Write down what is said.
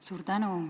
Suur tänu!